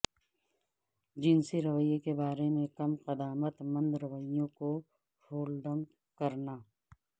جنسی رویے کے بارے میں کم قدامت مند رویوں کو ہولڈنگ کرنا